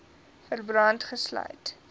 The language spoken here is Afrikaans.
verband gesluit